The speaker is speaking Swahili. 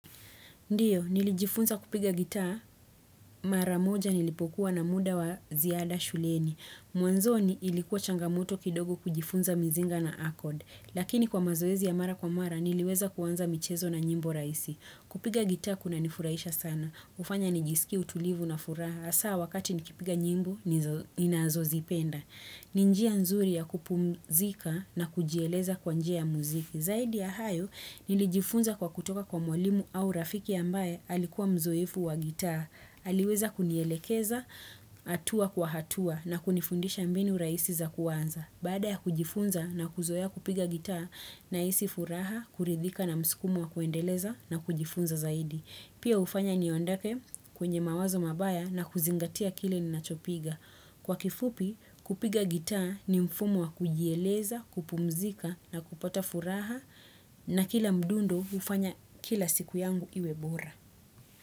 Ndio, nilijifunza kupiga gitaa, mara moja nilipokuwa na muda wa ziada shuleni Mwanzoni ilikuwa changamoto kidogo kujifunza mizinga na akod. Lakini kwa mazoezi ya mara kwa mara, niliweza kuanza michezo na nyimbo rahisi. Kupiga gitaa kunanifurahisha sana. Hufanya nijisikie utulivu na furaha. Hasaa wakati nikipiga nyimbo, ninazozipenda. Ni njia nzuri ya kupumzika na kujieleza kwa njia ya muziki. Zaidi ya hayo, nilijifunza kwa kutoka kwa mwalimu au rafiki ambaye alikuwa mzoefu wa gitaa. Aliweza kunielekeza, atua kwa hatua na kunifundisha mbinu rahisi za kuanza. Baada ya kujifunza na kuzoea kupiga gitaa nahisi furaha, kuridhika na msukumo wa kuendeleza na kujifunza zaidi. Pia hufanya niondoke kwenye mawazo mabaya na kuzingatia kile ni ninachopiga. Kwa kifupi, kupiga gitaa ni mfumo wa kujieleza, kupumzika na kupata furaha na kila mdundo hufanya kila siku yangu iwe bora.